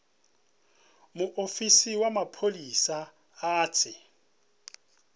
muofisi wa mapholisa a tshi